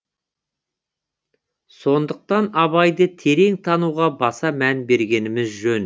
сондықтан абайды терең тануға баса мән бергеніміз жөн